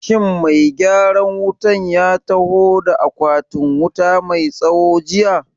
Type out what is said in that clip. Shin mai gyaran wutan ya taho da akwatin wuta mai tsawo jiya?